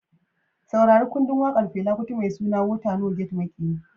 Saurari kundin wakar Fela Kuti mai suna "Water No Get Maƙiyi".